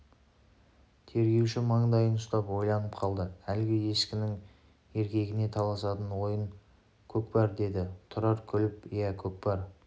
тергеуші мандайын ұстап ойланып қалды әлгі ешкінің еркегіне таласатын ойын көкпар деді тұрар күліп иә көкпар